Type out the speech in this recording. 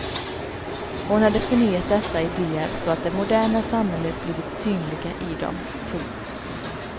Hon hade förnyat dessa ideer så att det moderna samhället blivit synliga i dem. punkt